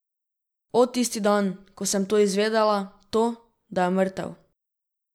O, tisti dan, ko sem to izvedela, to, da je mrtev!